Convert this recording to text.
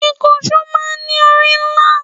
Ìkànsó máa ń ní orí ńlá